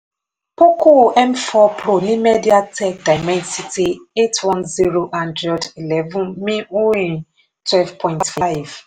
poco m four pro ní media tech dimensity eight one zero android eleven twelve point five